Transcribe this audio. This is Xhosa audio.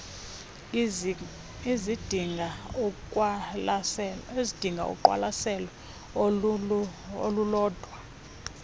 ezidinga uqwalaselo olulodwa